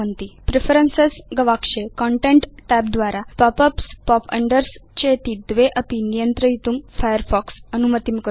preferences गवाक्षे content tab द्वारा pop ups pop unders चेति द्वे अपि नियन्त्रयितुं फायरफॉक्स अनुमतिं करोति